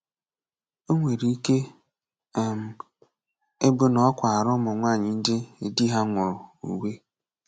O nwere ike um ịbụ na ọ kwaara ụmụ nwaanyị ndị di ha nwụrụ uwe.